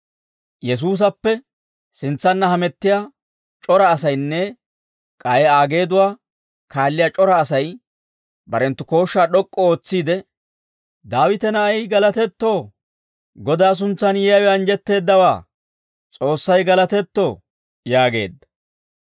Yesuusappe sintsanna hamettiyaa c'ora asaynne k'ay Aa geeduwaa kaalliyaa c'ora asay, barenttu kooshshaa d'ok'k'u ootsiide, «Daawita na'ay galatetto! Godaa suntsaan yiyaawe anjjetteeddawaa! S'oossay galatetto!» yaageedda.